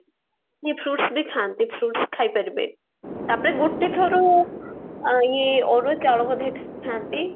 ଇଏ fruits ବି କ୍ଷାନ୍ତି fruits ବି ଖାଇପାରିବେ ତାପରେ ଗୋଟେ ଥର ଇଏ ଅରୁଆ ଚାଉଳ ବୋଧେ ଖାନ୍ତି